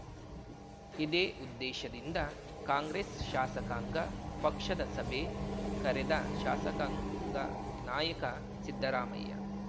ಇದೇ ಉದ್ದೇಶದಿಂದ ಕಾಂಗ್ರೆಸ್‌ ಶಾಸಕಾಂಗ ಪಕ್ಷದ ಸಭೆ ಕರೆದ ಶಾಸಕಾಂಗ ನಾಯಕ ಸಿದ್ದರಾಮಯ್ಯ